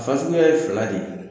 Fasuguya ye fila de ye.